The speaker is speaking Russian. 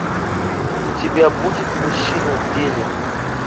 у тебя будет мужчины в деле